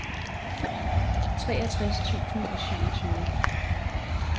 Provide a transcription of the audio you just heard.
treogtres tusind og syvogtyve